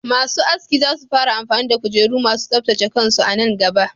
Masu aski za su fara amfani da kujeru ma su tsaftace kansu a nan gaba.